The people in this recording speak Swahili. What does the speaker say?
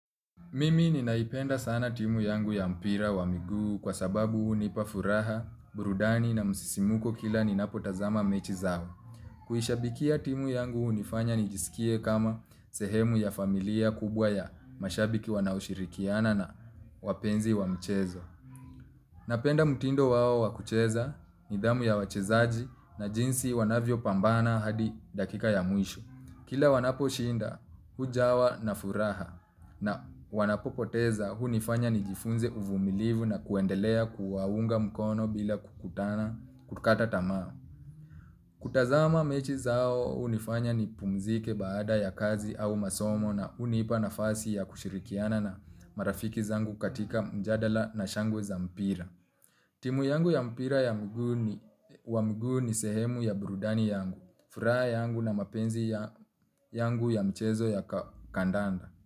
Mimi ninaipenda sana timu yangu ya mpira wa miguu kwa sababu hunipa furaha, burudani na msisimko kila ninapotazama mechi zao. Kuishabikia timu yangu hunifanya nijisikie kama sehemu ya familia kubwa ya mashabiki wanaoshirikiana na wapenzi wa mchezo. Napenda mtindo wao wa kucheza, nidhamu ya wachezaji na jinsi wanavyopambana hadi dakika ya mwisho. Kila wanaposhinda hujawa na furaha na wanapopoteza hunifanya nijifunze uvumilivu na kuendelea kuwaunga mkono bila kukutana kukata tamaa. Kutazama mechi zao hunifanya nipumzike baada ya kazi au masomo na hunipa nafasi ya kushirikiana na marafiki zangu katika mjadala na shangwe za mpira. Timu yangu ya mpira wa mguu ni sehemu ya burudani yangu, furaha yangu na mapenzi yangu ya mchezo ya kandanda.